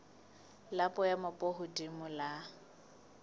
la boemo bo hodimo la